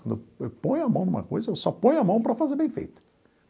Quando eu eu ponho a mão numa coisa, eu só ponho a mão para fazer bem feito.